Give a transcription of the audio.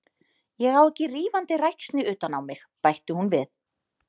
Ég á ekki rífandi ræksni utan á mig, bætti hún við.